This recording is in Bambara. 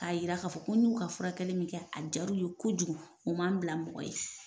A yira k'a fɔ ko n y'u ka furakɛli min kɛ a diyar'u ye kojugu, u ma n bila mɔgɔ ye.